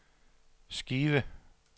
Skive